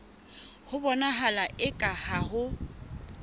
ho bonahala eka ha ho